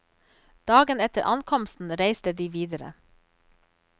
Dagen etter ankomsten reiste de videre.